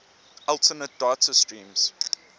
alternate data streams